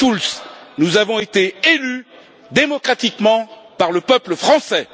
Schulz, nous avons été élus démocratiquement par le peuple français.